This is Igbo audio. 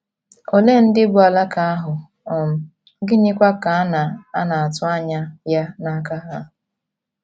Olee ndị bụ́ “ alaka ” ahụ um, gịnịkwa ka a na - a na - atụ anya ya n’aka ha?